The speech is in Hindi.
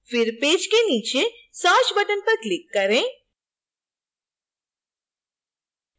फिर पेज के नीचे search button पर click करें